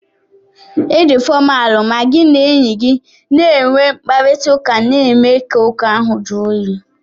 Ị dị fọmalu ma gị na enye gi na-enwe mkparịtaụka na-eme ka ụka ahụ juu oyi.